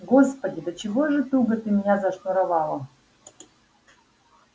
господи до чего же туго ты меня зашнуровала